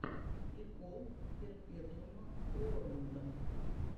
прикол перпетуума уорлда